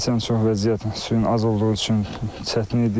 Keçən il çox vəziyyət suyun az olduğu üçün çətin idi.